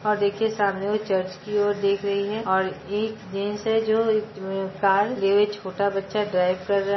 और देखिए सामने और वह चर्च की और देख रही है और एक जेन्स है जो अ कार छोटा बच्चा ड्राइव कर रहा--